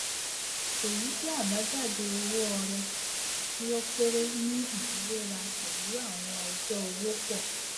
èyí jẹ àbájáde owó ọrẹ tí ó kéré ní ìfiwéra pẹlú àwọn ọjọ owó pọ